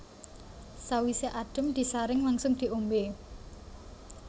Sawisé adhem disaring langsung diombé